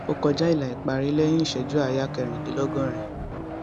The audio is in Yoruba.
ó kọjá ilà ìparí lẹyìn ìṣẹjú àáyá kẹrìndínlọgọrin